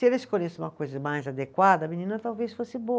Se ela escolhesse uma coisa mais adequada, a menina talvez fosse boa.